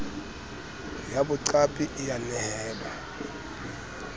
ya boqapi e a nehelwa